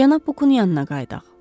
Cənab Bukun yanına qayıdaq.